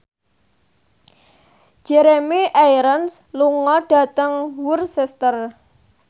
Jeremy Irons lunga dhateng Worcester